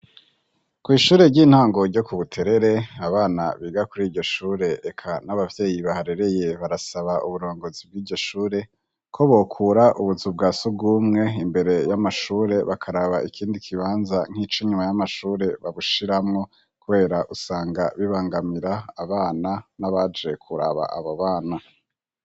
Kw'ishure ry'intango ryo ku Buterere, abana biga kuri iryo shure eka n'ababyeyi baharereye, barasaba uburongozi bw'iryo shure ko bokura ubuzu bwa sugumwe imbere y'amashure, bakaraba ikindi kibanza nk'ico inyuma y'amashure babushiramwo, kubera usanga bibangamira abana n'abaje kuraba abo bana.